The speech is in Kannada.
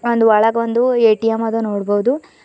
ಒಂದ ಒಳಗ ಒಂದ ಎ_ಟಿ_ಎಂ ಅದ ನೋಡ್ಬೋದು.